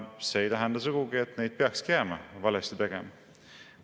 See ei tähenda sugugi, et neid peakski jääma valesti tegema.